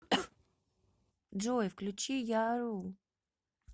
джой включи я рул